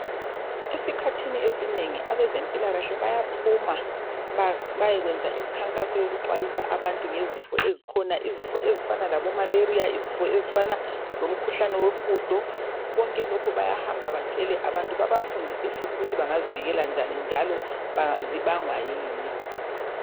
Esikhathini esinengi abezempilakahle bayaphuma bayekwenza imkhankaso yokuxwayisa abantu ngezifo ezikhona, izifo ezifana labomalaria, izifo ezifana lomkhuhlane wohudo konke lokhu bayahamba batshele abantu babafundise futhi ukuthi bangazivikela njani njalo zibangwa yini.